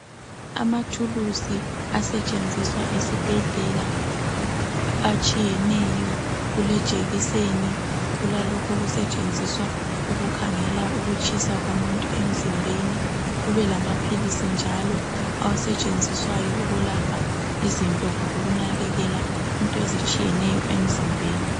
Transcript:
Amathuluzi asetshenziswa esibhedlela atshiyeneyo kulejekiseni kulalokho okusetshenziswa ukukhangela ukutshisa komuntu emzimbeni kube lamaphilizi njalo asetshenziswayo ukwelapha izinto kumbe ukunakakela izinto emzimbeni